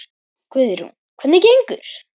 Guðrún: Hvernig gengur?